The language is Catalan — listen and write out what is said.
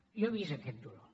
jo he vist aquest dolor